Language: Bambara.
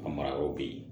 Ka mara yɔrɔw be yen